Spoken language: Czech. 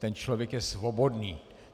Ten člověk je svobodný.